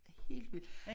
Det er helt vildt